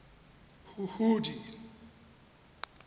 huhudi